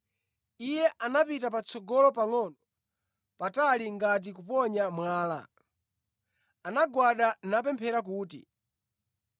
Iye anapita patsogolo pangʼono patali ngati kuponya mwala, anagwada napephera kuti,